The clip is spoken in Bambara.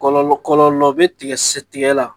Kɔlɔ kɔlɔ be tigɛ sɛ tigɛ la